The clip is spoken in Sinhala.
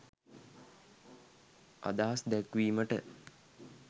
අදහස් දැක්වීමට